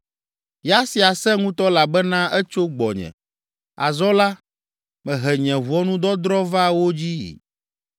Ya sia sẽ ŋutɔ elabena etso gbɔnye. Azɔ la, mehe nye ʋɔnudɔdrɔ̃ va wo dzii.”